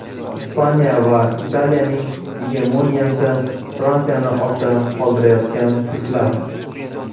Ispaniya va Italiyaning gegemoniyasi, Fransiyani ortda qoldirayotgan turklar.